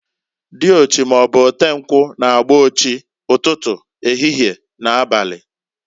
Diochi maọbụ otenkwu, na-agba ochi, ụtụtụ, ehihie, na abali.